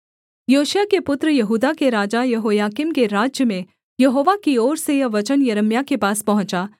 योशिय्याह के पुत्र यहूदा के राजा यहोयाकीम के राज्य में यहोवा की ओर से यह वचन यिर्मयाह के पास पहुँचा